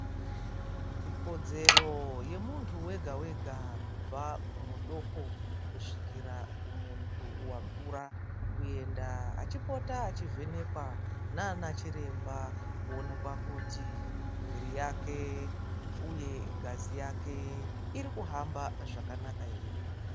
Ikodzero yemunhu wega wega kubva kumudoko kusvikira kumunhu wakura kuenda achipota achivhenekwa naanachiremba kuonekwa kuti mwiri yake uye ngazi yake iri kuhamba zvakanaka ere.